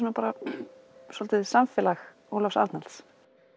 svolítið samfélag Ólafs Arnalds